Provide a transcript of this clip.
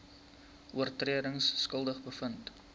oortredings skuldig bevind